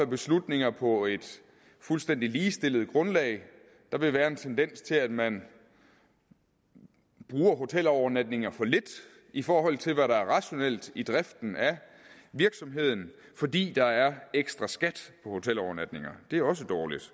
beslutninger på et fuldstændig ligestillet grundlag der vil være en tendens til at man bruger hotelovernatningerne for lidt i forhold til hvad der er rationelt i driften af virksomheden fordi der er ekstra skat på hotelovernatninger det er også dårligt